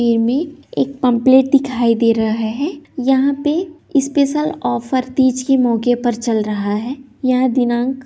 एमे पम्पलेट दिखाई दे रहा है यहाँ पे स्पेशल ऑफर तीज के मौके पर चल रहा है यह दिनांक --